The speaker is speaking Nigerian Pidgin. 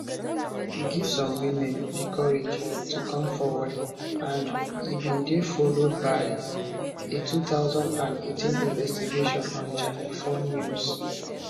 e give some women di courage to come forward and e bin dey followed by a 2018 investigation on channel 4 news